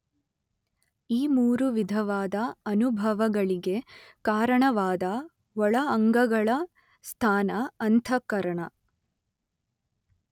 ಈ ಮೂರು ವಿಧವಾದ ಅನುಭವಗಳಿಗೆ ಕಾರಣವಾದ ಒಳ ಅಂಗಗಳ ಸ್ಥಾನ ಅಂತಃಕರಣ.